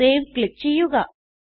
save click ചെയ്യുക